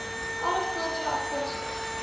alle voordele afkomstig